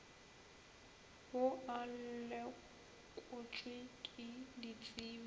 ao a lekotšwe ke ditsebi